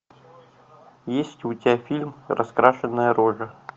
есть у тебя фильм раскрашенная рожа